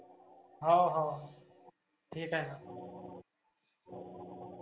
हाव हाव ठिक आहे.